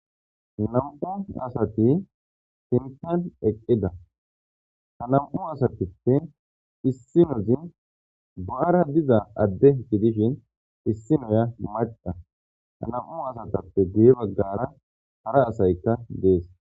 nam7u asati tincan eqqida ha nam7u asatippe issinozin bo7ara diza adde gidishin issinoya maqa ha nam7u asatappe gee baggara hara asaykka dees